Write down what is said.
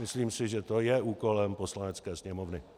Myslím si, že to je úkolem Poslanecké sněmovny.